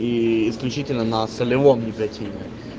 и исключительно на солевом никотине